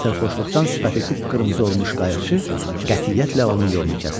deyə sərxoşluqdan sifəti qıpqırmızı olmuş qayıqçı qətiyyətlə onun yolunu kəsdi.